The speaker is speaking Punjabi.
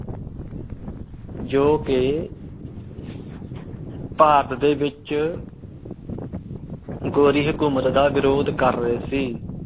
ਜੌ ਕੇ ਭਾਰਤ ਦੇ ਵਿਚ ਗੋਰੀ ਹਕੂਮਤ ਦਾ ਵਿਰੋਧ ਕਰ ਰਹੇ ਸੀ।